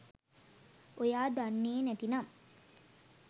ඔයා දන්නේ නැතිනම්